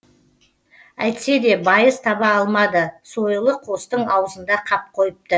әйтсе де байыз таба алмады сойылы қостың аузында қап қойыпты